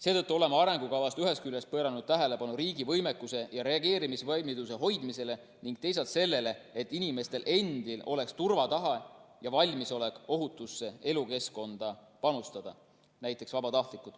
Seetõttu oleme arengukavas ühest küljest pööranud tähelepanu riigi võimekuse ja reageerimisvalmiduse hoidmisele ning teisalt sellele, et inimestel endil oleks turvatahe ja valmisolek ohutusse elukeskkonda panustada .